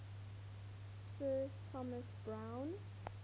sir thomas browne